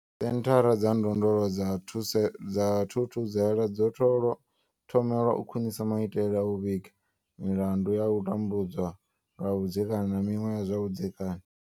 Senthara dza ndondolo dza thuse dza Thuthuzela dzo tholwa thomelwa u khwinisa maitele a u vhiga milandu ya u tambudzwa lwa vhudzekani na miṅwe ya zwa vhudzekani.